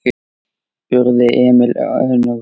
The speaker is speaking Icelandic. spurði Emil önugur.